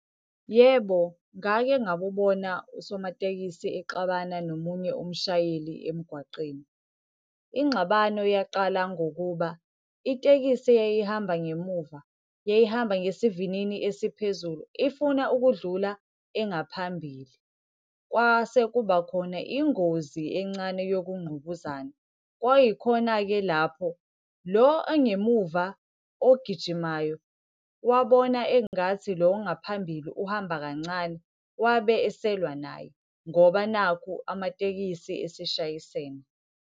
Yebo, ngake ngakubona usomatekisi exabana nomunye umshayeli emgwaqeni. Ingxabano yaqala ngokuba itekisi eyayihamba ngemuva, yayihamba ngesivinini esiphezulu ifuna ukudlula engaphambili. Kwase kuba khona ingozi encane yokungqubuzana. Kwayikhona-ke lapho lo ongemuva ogijimayo, wabona engathi lo ngaphambili uhamba kancane. Wabe eselwa naye ngoba nakhu amatekisi eseshayisene.